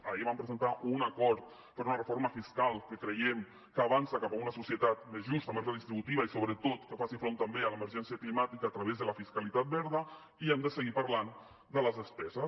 ahir vam presentar un acord per una reforma fiscal que creiem que avança cap a una societat més justa més redistributiva i sobretot que faci front també a l’emergència climàtica a través de la fiscalitat verda i hem de seguir parlant de les despeses